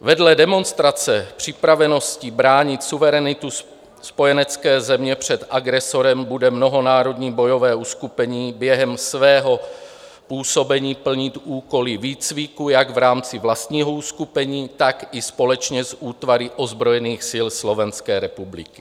Vedle demonstrace připravenosti bránit suverenitu spojenecké země před agresorem bude mnohonárodní bojové uskupení během svého působení plnit úkoly výcviku jak v rámci vlastního uskupení, tak i společně s útvary ozbrojených sil Slovenské republiky.